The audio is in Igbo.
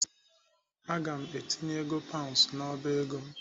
Aga m etinye ego paund n'ọba ego m.